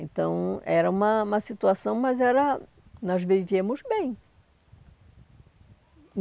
Então, era uma uma situação, mas era nós vivíamos bem.